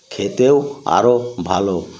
খেতেও আরো ভালো